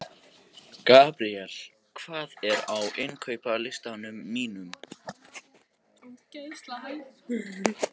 Gabríel, hvað er á innkaupalistanum mínum?